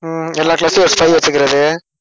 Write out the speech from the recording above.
எல்லா class க்கும் ஒரு spy வெச்சுக்கறது